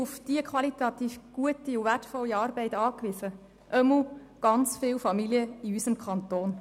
Wir sind auf die qualitativ gute und wertvolle Arbeit angewiesen, jedenfalls sind es viele Familien in unserem Kanton.